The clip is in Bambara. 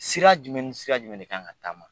Sira jumɛn ni sira jumɛn de kan ka taama?